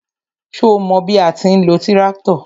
Ṣo mọ bí a ti ń lo tíráktọ̀?